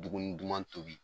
Dumuni duman tobi.